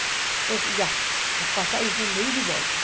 Então, assim, já, as passagens, são de ida e volta.